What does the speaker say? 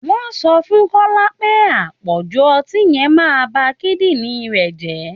Wọ́n sọ fún kọ́lá pé àpọ̀jù ọtí yẹn màa ba kídìnrín rẹ̀ jẹ́